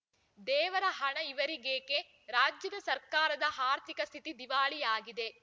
ದೇವರ ಹಣ ಇವರಿಗೇಕೆ ರಾಜ್ಯದ ಸರ್ಕಾರದ ಆರ್ಥಿಕ ಸ್ಥಿತಿ ದಿವಾಳಿಯಾಗಿದೆ